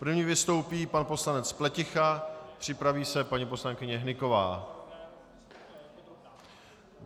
První vystoupí pan poslanec Pleticha, připraví se paní poslankyně Hnyková.